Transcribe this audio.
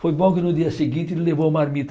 Foi bom que no dia seguinte ele levou marmita.